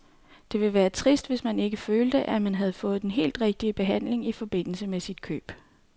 Det ville være trist, hvis man ikke følte, at man havde fået den helt rigtige behandling i forbindelse med sit køb.